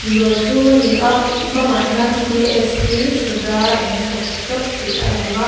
dawr chhung a ni a bangah hian d s p soda and coffee shop tih a lang a.